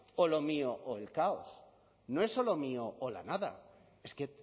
o lo mío o el caos no es o lo mío o la nada es que